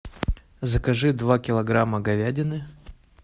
закажи два килограмма говядины